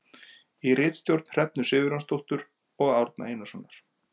Í ritstjórn Hrefnu Sigurjónsdóttur og Árna Einarssonar.